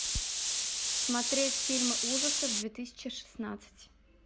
смотреть фильмы ужасов две тысячи шестнадцать